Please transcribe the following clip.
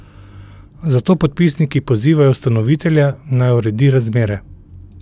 Zato podpisniki pozivajo ustanovitelja, naj uredi razmere.